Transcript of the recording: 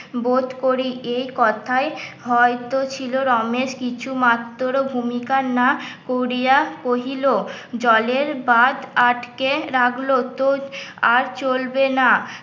বোধ করি এই কথায় হয়ত ছিল রমেশ কিছু মাত্র ভূমিকার না করিয়া কহিল জলের বাঁধ আটকে রাখল তো আর চলবে না